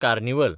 carnival